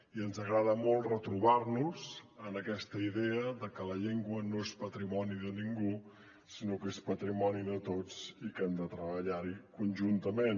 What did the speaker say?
i ens agrada molt retrobar nos en aquesta idea de que la llengua no és patrimoni de ningú sinó que és patrimoni de tots i que hem de treballar hi conjuntament